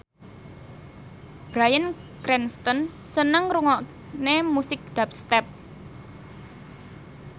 Bryan Cranston seneng ngrungokne musik dubstep